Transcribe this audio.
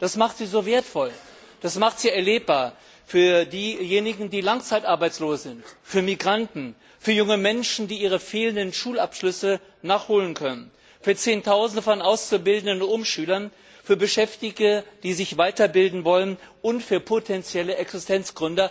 Das macht sie so wertvoll, das macht sie erlebbar für diejenigen, die langzeitarbeitslos sind, für Migranten, für junge Menschen, die ihre fehlenden Schulabschlüsse nachholen können, für zehntausende von Auszubildenden und Umschülern, für Beschäftigte, die sich weiterbilden wollen, und für potenzielle Existenzgründer.